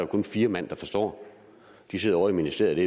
kun fire mand der forstår de sidder ovre i ministeriet